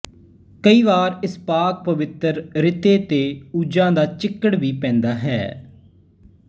ਕਈਂ ਵਾਰ ਇਸ ਪਾਕ ਪਵਿੱਤਰ ਰਿਤੇ ਤੇ ਊਜਾਂ ਦਾ ਚਿੱਕੜ ਵੀ ਪੈਂਦਾ ਹੈ